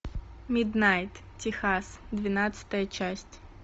миднайт техас двенадцатая часть